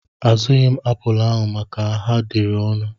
Azụghi m apụl ahụ maka ha dịịrị ọnụ.